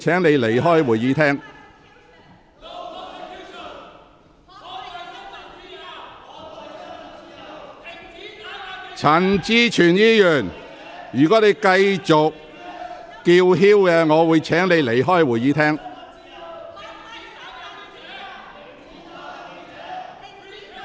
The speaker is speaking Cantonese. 毛孟靜議員，如果你繼續高聲叫喊，我會請你離開會議廳。